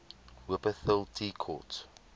wupperthal tea court